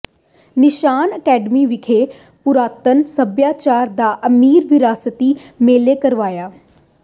ਨਿਸ਼ਾਨ ਅਕੈਡਮੀ ਵਿਖੇ ਪੁਰਾਤਨ ਸੱਭਿਆਚਾਰ ਦਾ ਅਮੀਰ ਵਿਰਾਸਤੀ ਮੇਲਾ ਕਰਵਾਇਆ